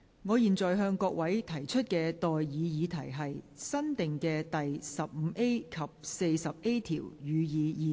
我現在向各位提出的待議議題是：新訂的第 15A 及 40A 條，予以二讀。